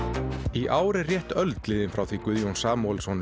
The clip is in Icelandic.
í ár er rétt öld liðin frá því Guðjón Samúlesson